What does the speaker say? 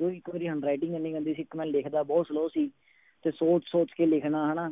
ਉਹ ਇੱਕ ਮੇਰੀ handwriting ਇੰਨੀ ਗੰਦੀ ਇੱਕ ਮੈਂ ਲਿਖਦਾ ਬਹੁਤ slow ਸੀ ਤੇ ਸੋਚ ਸੋਚ ਕੇ ਲਿਖਣਾ ਹਨਾ,